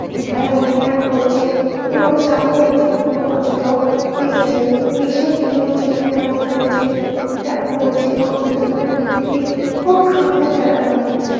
ধ্যান উনি ধ্যান করছেন এবং সামনে একজন কোনো পর্যটক এসছেন এসে তিনিও সেখানে ধ্যান করছেন দেখানো হচ্ছে এবং বুদ্ধদেবের মূর্তিটি খুব সুন্দর দেখানো হয়েছে।